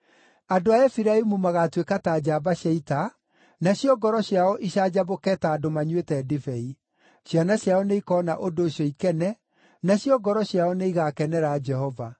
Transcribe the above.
Andũ a Efiraimu magaatuĩka ta njamba cia ita, nacio ngoro ciao icanjamũke ta andũ manyuĩte ndibei. Ciana ciao nĩikoona ũndũ ũcio ikene; nacio ngoro ciao nĩigakenera Jehova.